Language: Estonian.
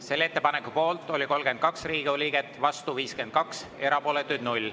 Selle ettepaneku poolt oli 32 Riigikogu liiget, vastu 52, erapooletuid 0.